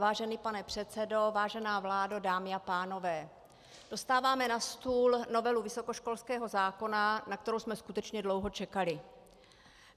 Vážený pane předsedo, vážená vládo, dámy a pánové, dostáváme na stůl novelu vysokoškolského zákona, na kterou jsme skutečně dlouho čekali.